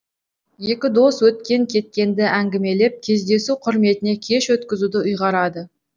екі дос өткен кеткенді әңгімелеп кездесу құрметіне кеш өткізуді ұйғарады